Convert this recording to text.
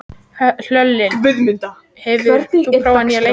Hlölli, hefur þú prófað nýja leikinn?